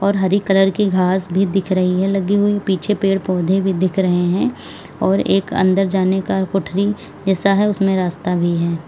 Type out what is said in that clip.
हरी colour की घास भी दिख रही है लगी हुई पीछे पेड़ पौधे भी दिख रहे हैं और एक अंदर जाने का कोठारी ऐसा है उसमें रास्ता भी है।